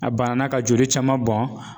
A banna ka joli caman bɔn